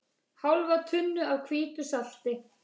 Hálfa tunnu af hvítu salti.